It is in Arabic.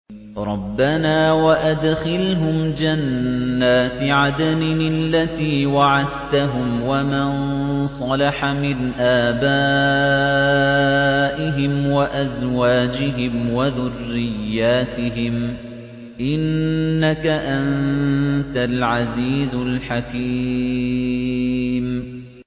رَبَّنَا وَأَدْخِلْهُمْ جَنَّاتِ عَدْنٍ الَّتِي وَعَدتَّهُمْ وَمَن صَلَحَ مِنْ آبَائِهِمْ وَأَزْوَاجِهِمْ وَذُرِّيَّاتِهِمْ ۚ إِنَّكَ أَنتَ الْعَزِيزُ الْحَكِيمُ